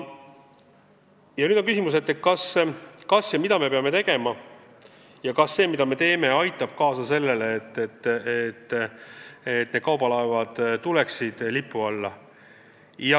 Ja nüüd on küsimus, mida me peame tegema, ja kas see, mida me teeme, aitab kaasa sellele, et kaubalaevad tuleksid lipu alla.